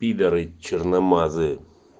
пидоры черномазые